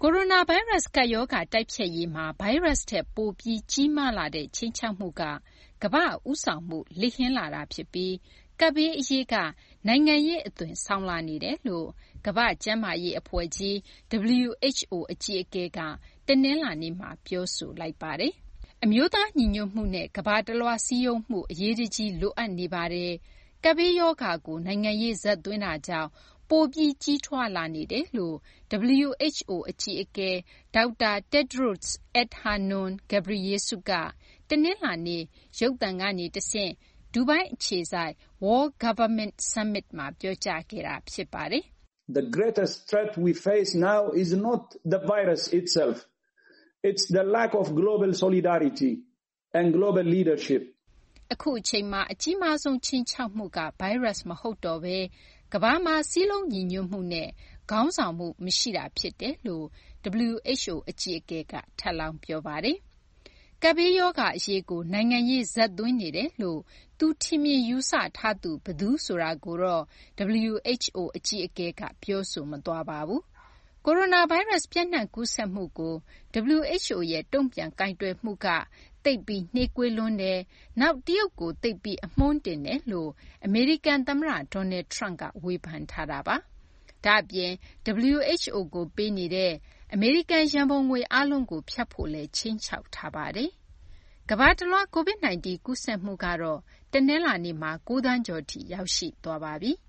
ကိုရိုနာဗိုင်းရပ်စ် ကပ်ရောဂါ တိုက်ဖျက်ရေးမှာ ဗိုင်းရပ်စ် ထက် ပိုပြီး ကြီးမားလာတဲ့ ခြိမ်းခြောက်မှုက ကမ္ဘာ့ဦးဆောင်မှု လစ်ဟင်းလာတာ ဖြစ်ပြီး ကပ်ဘေး အရေးက နိုင်ငံရေးအသွင်ဆောင်လာနေတယ်လို့ ကမ္ဘာ့ကျန်းမာရေး အဖွဲ့ကြီး WHO အကြီးအကဲက တနလာၤနေ့မှာ ပြောဆိုလိုက်ပါတယ်။ အမျိုးသား ညီညွတ်မှုနဲ့ ကမ္ဘာတလွှား စည်းရုံးမှု အရေးတကြီး လိုအပ်နေပါတယ်။ ကပ်ဘေးရောဂါကို နိုင်ငံရေး ဇာတ်သွင်းတာကြောင့် ပိုပြီး ကြီးထွားလာနေတယ်လို့ WHO အကြီးအကဲ ဒေါက်တာ Tedros Adhanom Ghebreyesus က တနလာၤနေ့က ရုပ်သံကနေ တဆင့် ဒူဘိုင်းအခြေစိုက် World Government Summit မှာ ပြောကြားခဲ့တာ ဖြစ်ပါတယ်။ အခုအချိန်မှာ အကြီးမားဆုံး ခြိမ်းခြောက်မှုက ဗိုင်းရပ်စ် မဟုတ်တော့ဘဲ ကမ္ဘာမှာ စည်းလုံးညီညွတ်မှုနဲ့ ခေါင်းဆောင်မှု မရှိတာ ဖြစ်တယ်လို့ WHO အကြီးအကဲ ဒေါက်တာ Tedros Adhanom Ghebreyesus က ထပ်လောင်း ပြောပါတယ်။ ကပ်ရောဂါဘေး အရေးကို နိုင်ငံရေး ဇာတ်သွင်းနေတယ်လို့ သူထင်မြင် ယူဆထားသူ ဘယ်သူ ဆိုတာကိုတော့ WHO အကြီးအကဲက ပြောဆိုမသွားပါဘူး။ ကိုရိုနာဗိုင်းရပ်စ် ပျံ့နှံ့ကူးစက်မှုကို WHO က တုံ့ပြန် ကိုင်တွယ်မှု သိပ်ပြီး နှေးကွေးလွန်းတယ်၊ နောက် တရုတ်ကို သိပ်ပြီး အမွှန်းတင်တယ်လို့ အမေရိကန် သမ္မတ Donald Trump က ဝေဖန်ထားတာပါ။ ဒါ့အပြင် WHO ကို ပေးနေတဲ့ အမေရိကန် ရံပုံငွေ အားလုံးကို ဖြတ်ဖို့လည်း ခြိမ်းခြောက်ထားတာပါ။ ကမ္ဘာတလွှား COVID 19 ကူးစက်မှုကတော့ တနလာၤနေ့မှာ ၉ သန်းကျော်ထိ ရောက်ရှိသွားပါပြီ။